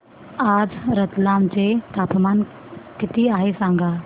आज रतलाम चे तापमान किती आहे सांगा